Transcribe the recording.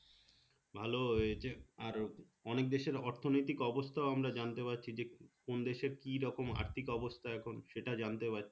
ভালো হয়েছে আর অনেক দেশের অর্থনৈতিক অবস্থাও আমরা জানতে পারছি যে কোন দেশে কি রকম আর্থিক অবস্থা এখন সেটা জানতে পারছি